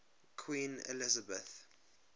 queen elizabeth